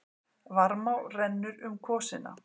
Varmá rennur um kvosina.